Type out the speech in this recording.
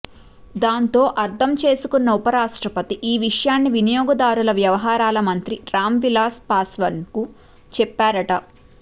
దాంతో అర్ధం చేసుకున్న ఉప రాష్టప్రతి ఈ విషయాన్ని వినియోగదారుల వ్యవహారాల మంత్రి రాం విలాస్ పాశ్వన్కు చెప్పారట